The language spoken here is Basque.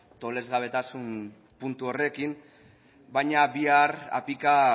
tolesgabetasun puntu horrekin baina bihar apika